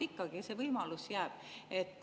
Ikkagi see võimalus jääb.